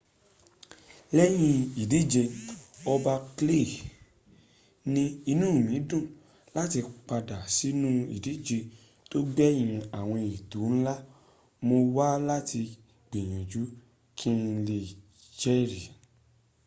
lẹ́yìn ìdìje ọba clay ní inú mi dùn láti padà sínú ìdíje tó gbẹ̀yìn àwọn ètò ńlá. mo wá láti gbìyànjú kí n lè jẹri.